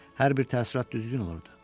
Hər bir təəssürat düzgün olurdu.